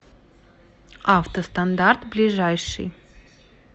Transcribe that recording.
автостандарт ближайший